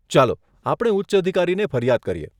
ચાલો આપણે ઉચ્ચ અધિકારીને ફરિયાદ કરીએ.